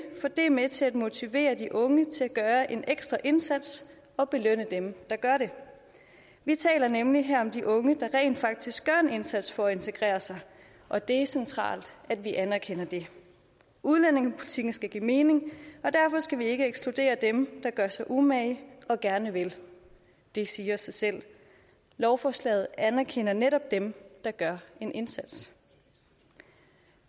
for det er med til at motivere de unge til at gøre en ekstra indsats og belønne dem der gør det vi taler nemlig her om de unge der rent faktisk gør en indsats for at integrere sig og det er centralt at vi anerkender det udlændingepolitikken skal give mening og derfor skal vi ikke ekskludere dem der gør sig umage og gerne vil det siger sig selv lovforslaget anerkender netop den der gør en indsats